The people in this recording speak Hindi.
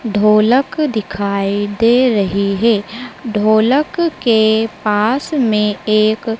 ढोलक दिखाई दे रही है ढोलक के पास में एक--